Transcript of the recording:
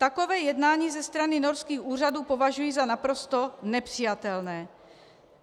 Takové jednání ze strany norských úřadů považuji za naprosto nepřijatelné.